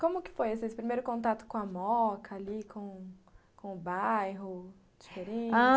Como que foi esse primeiro contato com a Moca ali, com com o bairro diferente? A